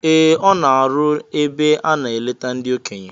Ee, ọ na-arụ ebe a na -eleta ndị okenye